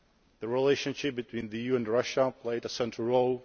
The relationship between the EU and Russia played a central role